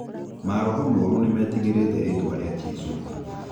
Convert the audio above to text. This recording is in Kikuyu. Maroho moru nĩ metigĩrĩte rĩtwa rĩa jesũ